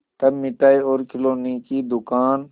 तब मिठाई और खिलौने की दुकान